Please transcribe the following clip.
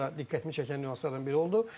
Bu da diqqətimi çəkən nüanslardan biri oldu.